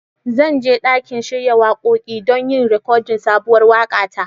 Zan je ɗakin shiya waƙoƙi don yin rikodin sabuwar waƙa ta.